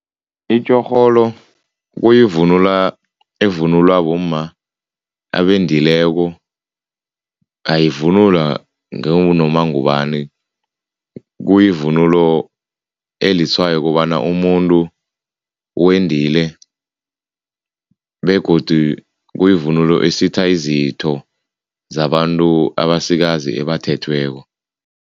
Itjorholo kuyivunulo evunulwa bomma abendileko, ayivunulwa ngangunoma ngubani. Kuyivunulo elitshwayo ukobana umuntu wendile begodu kuyivunulo esitha izitho zabantu abasikazi tjha abathethweko.